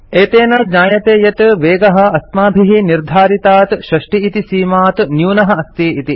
एतेन ज्ञायते यत् वेगः अस्माभिः निर्धारितात् 60 इति सीमात् न्यूनः अस्ति इति